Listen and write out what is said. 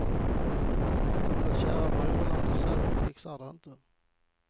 Vårt kära broderland i söder fixade det inte.